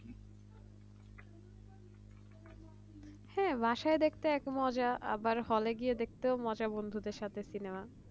হ্যাঁ বাসায় দেখতে এক মজা আবার হলে গিয়ে দেখতেও মজা বন্ধুদের সাথে সিনেমা